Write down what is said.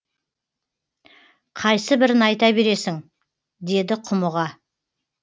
қайсыбірін айта бересің деді құмыға